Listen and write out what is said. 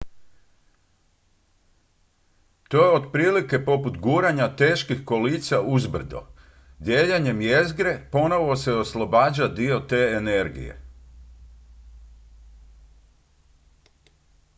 to je otprilike poput guranja teških kolica uzbrdo dijeljenjem jezgre ponovo se oslobađa dio te energije